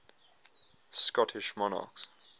scottish monarchs